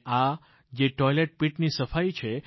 અને આ જે ટોઇલેટ પીટ ની સફાઈ છે